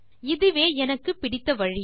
இதுவே எனக்கு பிடித்த வழி